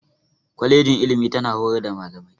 Kwalejin ilimi tana horar da Malamai.